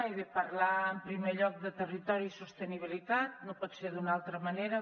he de parlar en primer lloc de territori i sostenibilitat no pot ser d’una altra manera